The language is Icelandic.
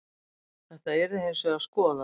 Þetta yrði hins vegar skoðað